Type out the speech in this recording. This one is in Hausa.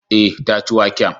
Eh, ta ci waken